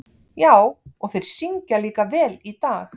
Já, og þeir syngja líka vel í dag.